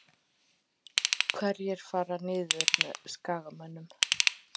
Hverjir fara niður með Skagamönnum?